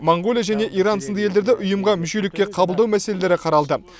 моңғолия және иран сынды елдерді ұйымға мүшелікке қабылдау мәселелері қаралды